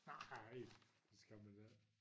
Nej det skal man ik